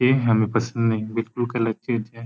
ये हमे पसंद नही बिलकुल कलर चेंज है।